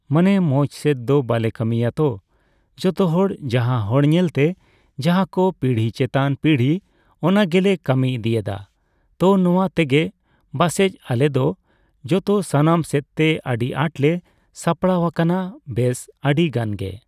ᱢᱟᱱᱮ ᱢᱚᱪᱥᱮᱫ ᱫᱚ ᱵᱟᱞᱮ ᱠᱟᱹᱢᱤᱭᱟᱛᱚ ᱡᱚᱛᱚᱦᱚᱲ ᱡᱟᱦᱟᱸ ᱦᱚᱲ ᱧᱮᱞᱛᱮ ᱡᱟᱦᱟᱸ ᱠᱚ ᱯᱤᱲᱦᱤ ᱪᱮᱛᱟᱱ ᱯᱤᱲᱦᱤ ᱚᱱᱟᱜᱮᱞᱮ ᱠᱟᱹᱢᱤ ᱤᱫᱤᱭᱮᱫᱟ ᱛᱚ ᱱᱚᱣᱟ ᱛᱮᱜᱮ ᱵᱟᱥᱮᱡ ᱟᱞᱮᱫᱚ ᱡᱚᱛᱚ ᱥᱟᱱᱟᱢ ᱥᱮᱫᱛᱮ ᱟᱹᱰᱤ ᱟᱴᱞᱮ ᱥᱟᱯᱲᱟᱣ ᱟᱠᱟᱱᱟ ᱵᱮᱥ ᱟᱹᱰᱤᱜᱟᱱᱜᱤ ᱾